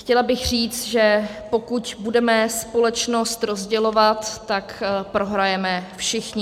Chtěla bych říct, že pokud budeme společnost rozdělovat, tak prohrajeme všichni.